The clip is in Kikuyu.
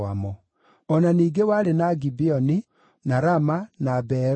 O na ningĩ warĩ na Gibeoni, na Rama, na Beerothu,